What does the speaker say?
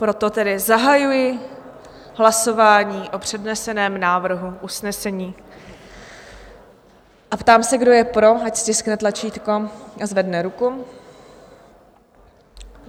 Proto tedy zahajuji hlasování o předneseném návrhu usnesení a ptám se, kdo je pro, ať stiskne tlačítko a zvedne ruku.